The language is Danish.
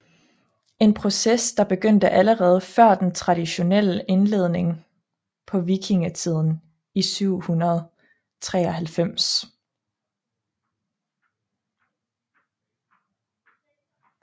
En proces der begyndte allerede før den traditionelle indledning på vikingetiden i 793